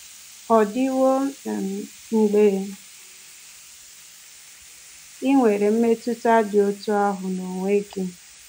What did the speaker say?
Ọ̀dịwo um mgbe i nwere mmetụta dị otú ahụ n’onwe gị?